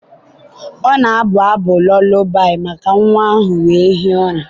ọ na-abụ abụ lụlabi maka nwa ahụ wee hie ụra.